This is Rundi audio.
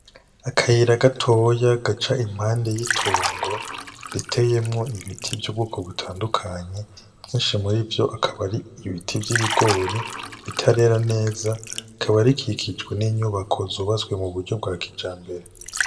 Akayira gatoya gaca impande y'itongo riteyemwo ibiti vy'ubwoko butandukanye. Vyinshi murivyo bikaba ari ibiti vy'ibigori bitarera neza. Bikaba bikikijwe n'inyubako zubatswe mu buryo bwa kijambere.